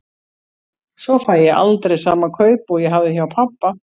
Svo fæ ég aldrei sama kaup og ég hafði hjá pabba.